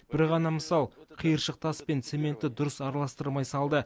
бір ғана мысал қиыршық тас пен цементті дұрыс араластырмай салды